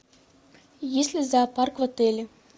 есть ли зоопарк в отеле